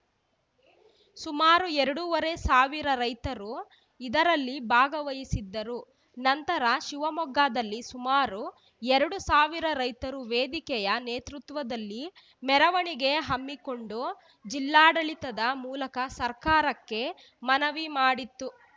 ಸುಮಾರು ಎರಡುವರೆ ಸಾವಿರ ರೈತರು ಇದರಲ್ಲಿ ಭಾಗವಹಿಸಿದ್ದರು ನಂತರ ಶಿವಮೊಗ್ಗದಲ್ಲಿ ಸುಮಾರು ಎರಡು ಸಾವಿರ ರೈತರು ವೇದಿಕೆಯ ನೇತೃತ್ವದಲ್ಲಿ ಮೆರವಣಿಗೆ ಹಮ್ಮಿಕೊಂಡು ಜಿಲ್ಲಾಡಳಿತದ ಮೂಲಕ ಸರ್ಕಾರಕ್ಕೆ ಮನವಿ ಮಾಡಿತ್ತು